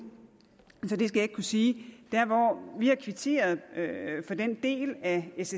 så det skal jeg ikke kunne sige vi har kvitteret for den del af s